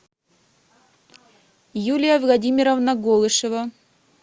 юлия владимировна голышева